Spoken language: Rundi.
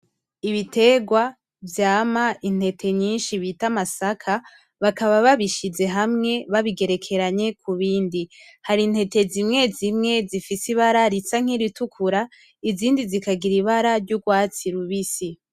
Ibiterwa vyama intete nyinshi bita amasaka bakaba babishize hamwe babigerekeranye kubindi. hari intete zimwezimwe zifise ibara risa nkiritukura izindi zikagira ibara ryurwatsi rubisi.